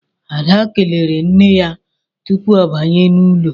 Ada kelere nne ya tupu ọ banye n'ụlọ